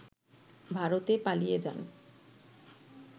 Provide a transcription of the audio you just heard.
ভারতে পালিয়ে যান